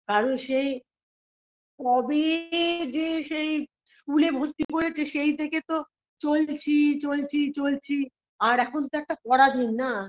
কারণ সেই কবে যে সেই school -এ ভর্তি করেছে সেই থেকে তো চলছি চলছি চলছি আর এখন তো একটা পরাধীন না